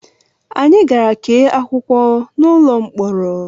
Anyị gara kee akwụkwọ n'ụlọ mkpọrọ